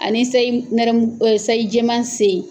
Ani sayi nɛrɛmugu sayi jɛman se ye